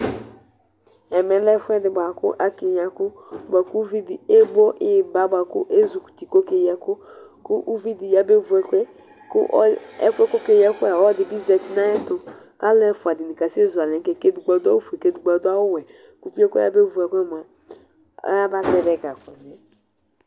Ɛmɛ lɛ ɛfʋɛdi bʋakʋ akeyi ɛkʋ bʋakʋ ʋvidi ebo ipa bʋakʋ azi kɔ uti kʋ ɔkeyi ɛkʋ kʋ ʋvidi yabe vʋ ɛkʋɛ Ɛfʋ yɛ kʋ ɔkeyi ɛkʋ yɛ ɔlɔdi zati nʋ ayʋ ɛtʋ kʋ alʋ ɛfʋa dini kasezʋ alɛ dʋ nʋ kɛkɛ kʋ edigbo adʋ awʋwɛ kʋ edigbo adʋ awʋfue kʋ ʋviyɛ kʋ ɔyabevʋ ɛkʋyɛ mʋa ayaba zɛvi ɛga